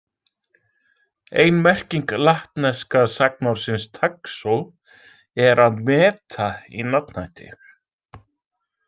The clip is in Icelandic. Ein merking latneska sagnorðsins taxo er að „meta“ í nafnhætti.